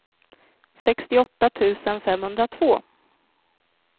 sextioåtta tusen femhundratvå